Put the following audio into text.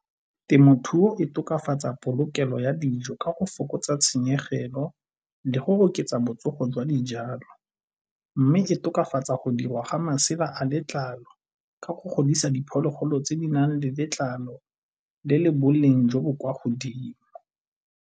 Temothuo e tokafatsa polokelo ya dijo ka go fokotsa tshenyegelo le go oketsa botsogo jwa dijalo. Mme e tokafatsa go dirwa ga masela a letlalo ka go godisa diphologolo tse di nang le letlalo le le boleng jo bo kwa godimo.